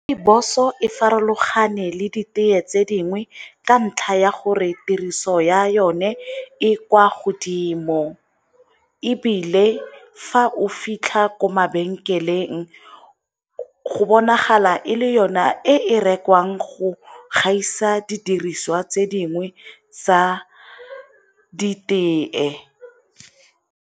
Rooibos-o e farologane le ditee tse dingwe ka ntlha ya gore tiriso ya yone e kwa godimo, ebile fa o fitlha ko mabenkeleng go bonagala e le yona e rekwang go gaisa didiriswa tse dingwe tsa ditee.